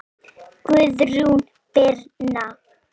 Guðrún Birna.